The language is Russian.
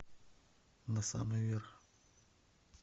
на самый верх